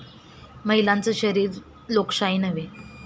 महिलांचं शरीर लोकशाही नव्हे!'